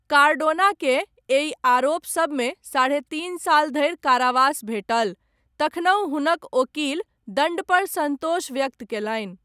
कार्डोनाकेँ, एहि आरोप सबमे, साढ़े तीन साल धरि कारावास भेटल, तखनहु हुनक ओकील दण्डपर सन्तोष व्यक्त कयलनि।